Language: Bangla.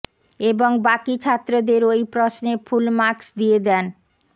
এবং বাকি ছাত্রদের ওই প্রশ্নে ফুল মার্কস দিয়ে দেন